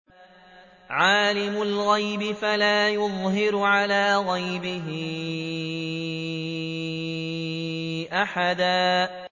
عَالِمُ الْغَيْبِ فَلَا يُظْهِرُ عَلَىٰ غَيْبِهِ أَحَدًا